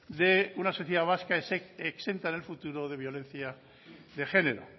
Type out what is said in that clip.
de una sociedad vasca exenta en el futuro de violencia de género